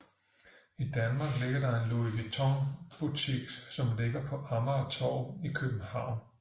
I Danmark er der en Louis Vuitton butik som ligger på Amagertorv i København